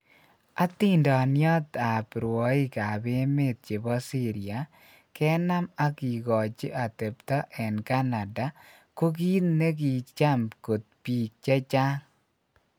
Hatindoniot ap rwoig ap emet chepo syria kenam ag kigochi atepto en canada ko kit ne gicham kot pik chechang.